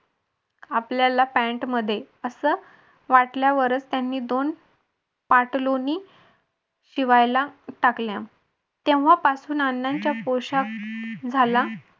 आपल्याला पॅन्ट मध्ये असं वाटल्यावरच त्यांनी दोन पार्टलोनी शिवायला टाकल्या तेव्हापासून अण्णांचा पोशाख झाला